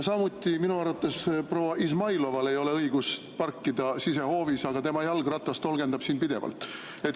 Samuti ei ole minu arvates proua Izmailoval õigust parkida sisehoovis, aga tema jalgratas tolgendab siin pidevalt.